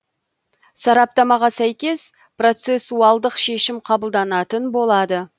сараптамаға сәйкес процесуалдық шешім қабылданатын болады